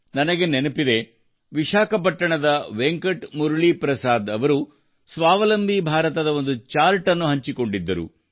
ನನಗೆ ನೆನಪಿದೆ ವಿಶಾಖಪಟ್ಟಣಂನ ವೆಂಕಟ್ ಮುರಳಿ ಪ್ರಸಾದ್ ಅವರು ಸ್ವಾವಲಂಬಿ ಭಾರತದ ಒಂದು ಚಾರ್ಟ್ ಅನ್ನು ಹಂಚಿಕೊಂಡಿದ್ದರು